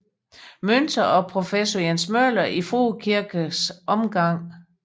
Münter og professor Jens Møller i Frue Kirkes omgang